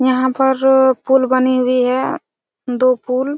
यहाँ पर पूल बनी हुई है दो पूल --